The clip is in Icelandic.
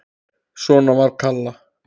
Svona var Kalla.